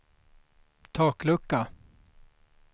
taklucka